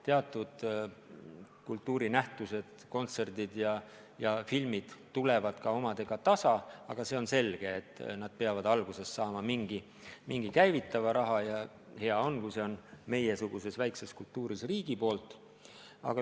Teatud kultuuriettevõtmised, kontserdid ja filmid teenivad end tasa, aga see on selge, et nad peavad alguses saama mingi käivitava raha, ja hea on, kui see meiesuguses väikses kultuuris tuleb riigilt.